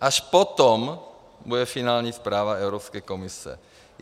Až potom bude finální zpráva Evropské komise.